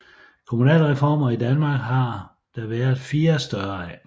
Kommunalreformer i Danmark har der været fire større af